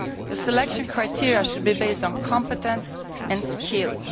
The selection criteria should be based on competence and skills.